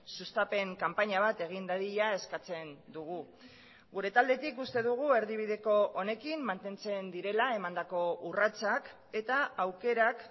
sustapen kanpaina bat egin dadila eskatzen dugu gure taldetik uste dugu erdibideko honekin mantentzen direla emandako urratsak eta aukerak